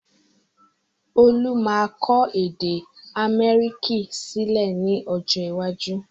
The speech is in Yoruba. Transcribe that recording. Olú máa kọ èdè amharic sílẹ̀ ni ọjọ́ iwájú